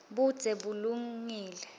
budze bulungile